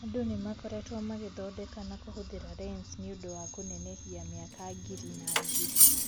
Andũ nĩmakoretwo magĩthondeka na kũhũthira lensi nĩũnd kũnenehia mĩaka ngiri na ngiri.